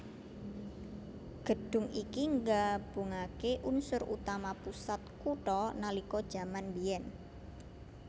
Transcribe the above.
Gedhung iki nggabungaké unsur utama pusat kutha nalika jaman mbiyen